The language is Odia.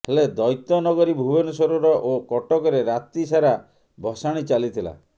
ହେଲେ ଦୈତନଗରୀ ଭୁବନେଶ୍ୱରର ଓ କଟକରେ ରାତି ସାରା ଭସାଣି ଚାଲିଥିଲା